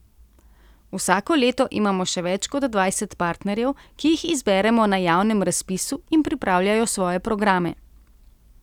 Vsako leto imamo še več kot dvajset partnerjev, ki jih izberemo na javnem razpisu in pripravljajo svoje programe.